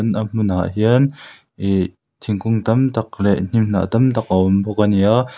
a hmun ah hian ihh thingkung tam tak leh hnim hnah tam tak a awm bawk ania.